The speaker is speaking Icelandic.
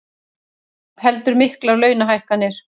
Heldur miklar launahækkanir